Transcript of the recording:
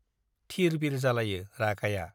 थिर बिर जालायो रागाया।